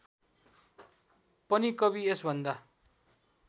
पनि कवि यसभन्दा